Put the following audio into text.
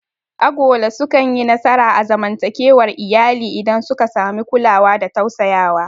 Agola sukanyi nasara a zamantakewar iyali idan suka samu kulawa da tausayawa.